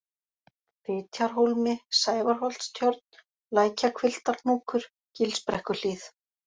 Fitjarhólmi, Sævarholtstjörn, Lækjahvilftarhnúkur, Gilsbrekkuhlíð